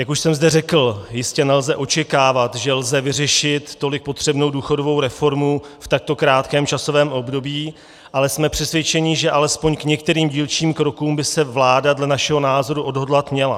Jak už jsem zde řekl, jistě nelze očekávat, že lze vyřešit tolik potřebnou důchodovou reformu v takto krátkém časovém období, ale jsme přesvědčeni, že alespoň k některým dílčím krokům by se vláda dle našeho názoru odhodlat měla.